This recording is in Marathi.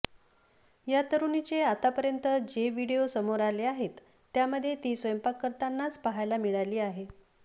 या तरुणीचे आतापर्यंत जे व्हिडिओ समोर आले आहेत त्यामध्ये ती स्वयंपाक करतानाच पाहायला मिळाली आहे